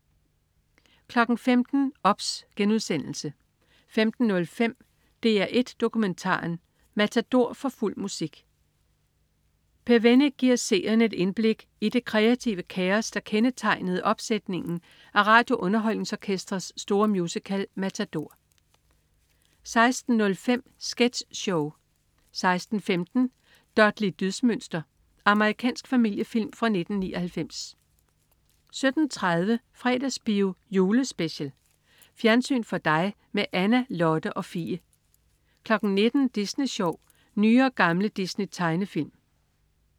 15.00 OBS* 15.05 DR1 Dokumentaren: Matador, for fuld musik. Per Wennick giver seerne et indblik i det kreative kaos, der kendetegnede opsætningen af RadioUnderholdningsOrkestrets store musical Matador 16.05 Sketch show 16.15 Dudley Dydsmønster. Amerikansk familiefilm fra 1999 17.30 Fredagsbio Julespecial. Fjernsyn for dig med Anna, Lotte og Fie 19.00 Disney Sjov. Nye og gamle Disney-tegnefilm